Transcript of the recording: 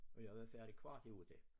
Og jeg var færdig kvart i 8